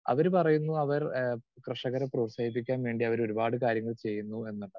Speaker 2 അവര് പറയുന്നു അവർ ഏഹ് കർഷകരെ പ്രോത്സാഹിപ്പിക്കാൻ വേണ്ടി ഒരുപാട് കാര്യങ്ങൾ ചെയ്യുന്നു എന്നാണ്.